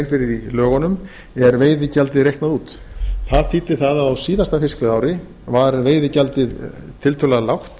fyrir í lögunum er veiðigjaldið reiknað út það þýddi að á síðasta fiskveiðiári var veiðigjaldið tiltölulega lágt